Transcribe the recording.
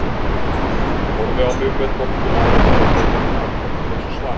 Hann horfði á mig með dolluna á lofti og beið eftir afdráttarlausu svari.